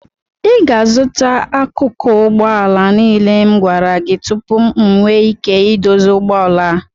Ị ga-azụta akụkụ ụgbọ ala niile m gwara gị tupu m enwee ike ịdozi ụgbọ ala a